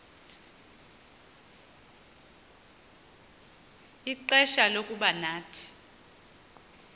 ixfsha lokuba nathi